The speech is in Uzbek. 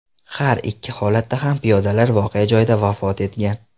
Har ikki holatda ham piyodalar voqea joyida vafot etgan.